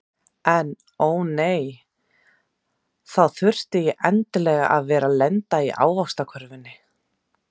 En ó nei, þá þurfti ég endilega að vera lent í ávaxtakörfunni.